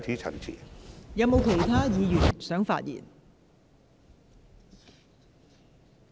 是否有其他議員想發言？